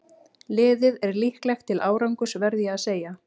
Liðið er líklegt til árangurs verð ég að segja.